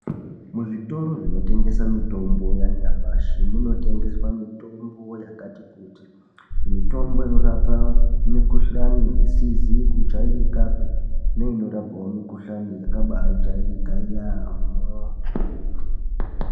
Kuzvitoro zvinotengesa mitombo yanyamashi munotengeswa mitombo yakati kuti mitombo inorapa mikhuhlani isizi kujairikapi neinorapawo mikhuhlani yakabaajairika yaamho.